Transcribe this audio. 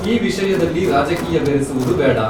ಈ ವಿಷಯದಲ್ಲಿ ರಾಜಕೀಯ ಬೆರೆಸುವುದು ಬೇಡ.